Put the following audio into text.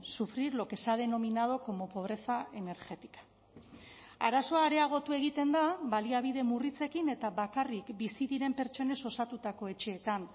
sufrir lo que se ha denominado como pobreza energética arazoa areagotu egiten da baliabide murritzekin eta bakarrik bizi diren pertsonez osatutako etxeetan